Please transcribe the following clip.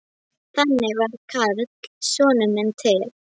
Þannig varð Karl sonur minn til.